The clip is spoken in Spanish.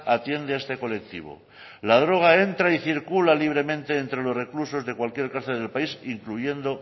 atiende a este colectivo la droga entra y circula libremente entre los reclusos de cualquier cárcel del país incluyendo